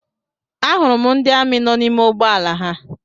A hụrụ m ndị amị nọ n'ime ụgbọala ha.